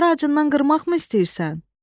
Onları acından qırmaqmı istəyirsən?